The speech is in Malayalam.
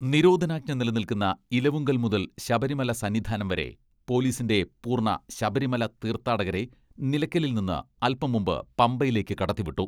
നിരോധനാജ്ഞ നിലനിൽക്കുന്ന ഇലവുങ്കൽ മുതൽ ശബരിമല സന്നിധാനം വരെ പോലീസിന്റെ പൂർണ്ണ ശബരിമല തീർത്ഥാടകരെ നിലയ്ക്കലിൽ നിന്ന് അല്പം മുമ്പ് പമ്പയിലേക്ക് കടത്തിവിട്ടു.